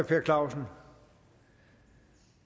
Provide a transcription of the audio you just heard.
per clausen